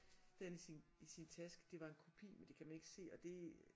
Det havde han i sin i sin taske det var en kopi men det kan man ikke se og det